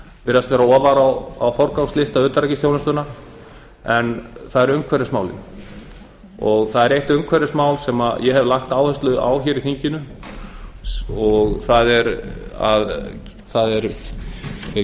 virðast vera ofar á forgangslista utanríkisþjónustunnar það eru umhverfismálin það er eitt umhverfismál sem ég hef lagt áherslu á hér í þinginu og það er hve